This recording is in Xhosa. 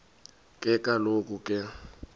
ke kaloku ke